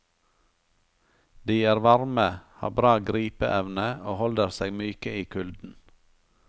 De er varme, har bra gripe evne og holder seg myke i kulden.